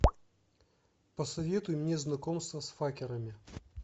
посоветуй мне знакомство с факерами